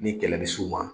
Ni kɛlɛ bɛ s'u ma